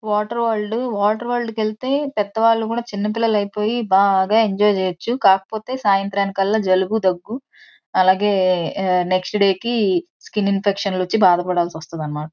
Water world water world కి వెళ్తే పెద్దవాళ్లు కూడా చిన్న పిల్లలైపోయి బాగా ఎంజాయ్ చేయొచ్చు. కాకపోతే సాయంత్రానికల్లా జలుబు దగ్గు అలాగే నెక్స్ట్ డే కి స్కిన్ ఇన్ఫెక్షన్ లు వచ్చి బాధపడాల్సి వస్తాదనమాట.